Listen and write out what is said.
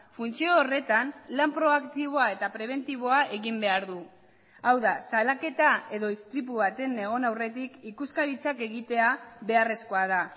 funtzio horretan lan proaktiboa eta prebentiboa egin behar du hau da salaketa edo istripu baten egon aurretik ikuskaritzak egitea beharrezkoa da